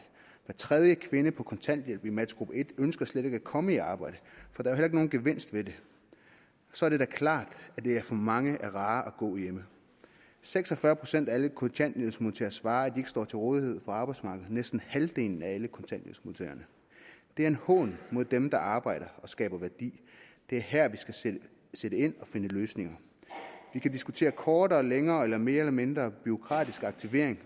hver tredje kvinde på kontanthjælp i matchgruppe en ønsker slet ikke at komme i arbejde for der er jo ikke nogen gevinst ved det så er det da klart at det for mange er rarere at gå hjemme seks og fyrre procent af alle kontanthjælpsmodtagere svarer at ikke står til rådighed for arbejdsmarkedet næsten halvdelen af alle kontanthjælpsmodtagerne det er en hån mod dem der arbejder og skaber værdi det er her vi skal sætte ind og finde løsninger vi kan diskutere kortere længere eller mere eller mindre bureaukratisk aktivering